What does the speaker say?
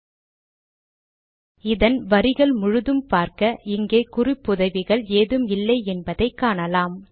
000107 000012 இதன் வரிகள் முழுதும் பார்க்க இங்கே குறிப்புதவிகள் ஏதும் இல்லை என்பதை காணலாம்